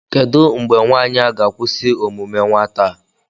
kedụ mgbe nwaanyị a ga-akwụsị omume nwata a